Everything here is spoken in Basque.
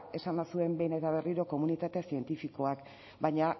esan bazuen behin eta berriro komunitate zientifikoak baina